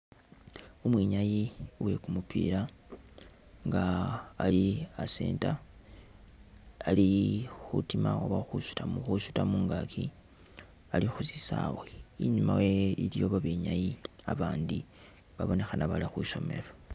Umwinyayi wekumupila nga ali a'centre ali khutimakho khwisuta mungaaki ali khusisawe inyuma wewe iliyo babenyayi babandi babonekhana balikhwisomelo